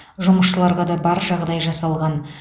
жұмысшыларға да бар жағдай жасалған